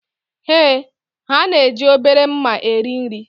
Ee, ha na-eji obere mma eri nri